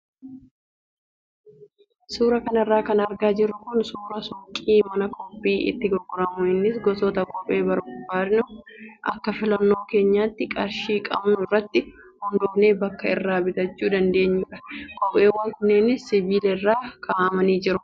Suuraa kanarra kan argaa jirru kun suuraa suuqii mana kophee itti gurguramu innis gosoota kophee barbaadnu akka filannoo keenyaatti qarshii qabnu irratti hundoofnee bakka irraa bitachuu dandeenyudha. Kopheewwan kunneenis sibiila irra kaa'amanii jiru.